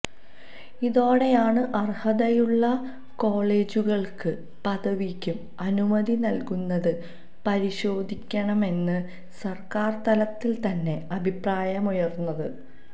ഇതോടെയാണ് അർഹതയുള്ള കോളജുകൾക്ക് പദവിക്ക് അനുമതി നൽകുന്നത് പരിശോധിക്കണമെന്ന് സർക്കാർതലത്തിൽതന്നെ അഭിപ്രായമുയർന്നത്